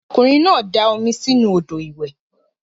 Okunrin na da omi si inu odo iwe.